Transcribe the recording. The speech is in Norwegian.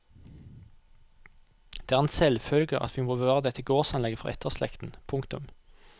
Det er en selvfølge at vi må bevare dette gårdsanlegget for etterslekten. punktum